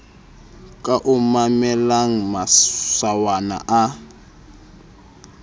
ka a mamellang masawana a